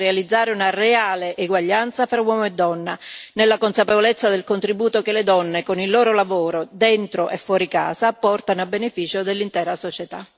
Dobbiamo promuovere e realizzare una reale eguaglianza fra uomo e donna, nella consapevolezza del contributo che le donne, con il loro lavoro dentro e fuori casa, portano a beneficio dell'intera società.